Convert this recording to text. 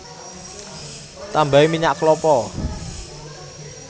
Tambahi minyak klapa